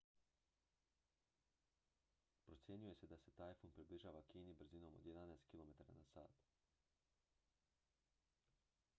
procjenjuje se da se tajfun približava kini brzinom od jedanaest km/h